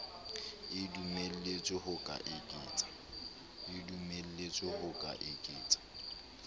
e dumelletswe ho ka eketsa